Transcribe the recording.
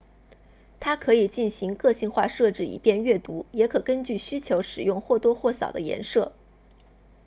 它可以进行个性化设置以便阅读也可根据需求使用或多或少的颜色